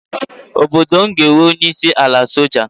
Obodo m ga-enwe onyeisi ala soja.